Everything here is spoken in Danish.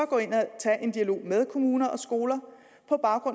gå ind og tage en dialog med kommuner og skoler